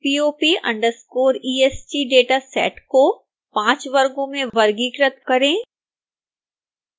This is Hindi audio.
pop_est डेटा सेट को 5 वर्गों में वर्गीकृत करें